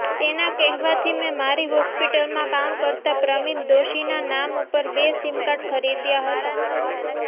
તેના કહેવાથી મે મારી હોસ્પિટલમાં કામ કરતા પ્રમિત દોશીના નામ ઉપર બે સીમકાર્ડ ખરીદ્યા હતા